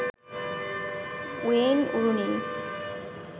Wayne Rooney